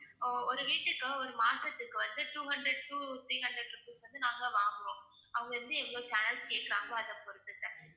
அஹ் ஒரு வீட்டுக்கு ஒரு மாசத்துக்கு வந்து two hundred to three hundred rupees வந்து நாங்க வாங்கறோம் அவங்க எப்படி எவ்ளோ channels கேக்கறாங்களோ அதை பொறுத்து sir